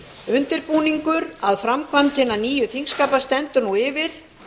undirbúningur að framkvæmd hinna nýju þingskapa stendur nú yfir